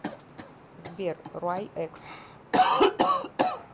сбер руай экс